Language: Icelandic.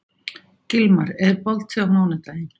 Gilmar, er bolti á mánudaginn?